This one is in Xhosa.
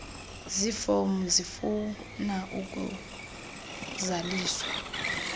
zifomu zifuna ukuzaliswa